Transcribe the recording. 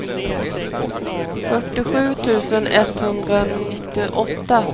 fyrtiosju tusen etthundranittioåtta